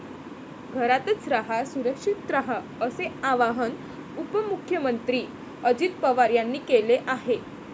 घरातचं रहा, सुरक्षित रहा असे आवाहन उपमुख्यमंत्री अजित पवार यांनी केले आहे.